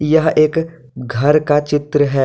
यह एक घर का चित्र है।